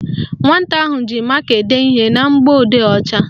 Nwata ahụ ji maka ede ihe na mgbọodee ọcha